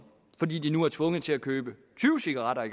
fordi de nu er tvunget til at købe tyve cigaretter